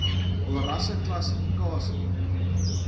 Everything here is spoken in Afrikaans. hul rasseklassi kasie